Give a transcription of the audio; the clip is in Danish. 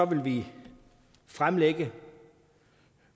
vil vi fremlægge